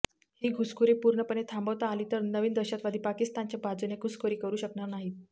ही घुसखोरी पूर्णपणे थांबवता आली तर नवीन दहशवादी पाकिस्तानच्या बाजूने घुसखोरी करू शकणार नाहीत